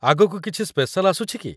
ଆଗକୁ କିଛି ସ୍ପେଶାଲ୍ ଆସୁଛି କି?